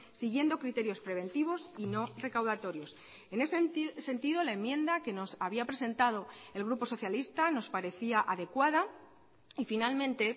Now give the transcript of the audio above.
siguiendo criterios preventivos y no recaudatorios en ese sentido la enmienda que nos había presentado el grupo socialista nos parecía adecuada y finalmente